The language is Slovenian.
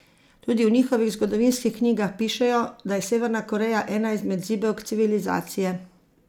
Tudi v njihovih zgodovinskih knjigah pišejo, da je Severna Koreja ena izmed zibelk civilizacije.